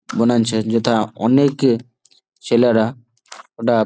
বনাইঞ্ছে যেথা অনেকে ছেলেরা ওটা--